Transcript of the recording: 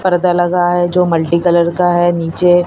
पर्दा लगा है जो मल्टी कलर का है नीचे--